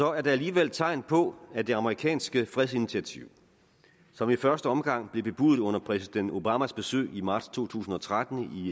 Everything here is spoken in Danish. er der alligevel tegn på at det amerikanske fredsinitiativ som i første omgang blev bebudet under præsident obamas besøg i marts to tusind og tretten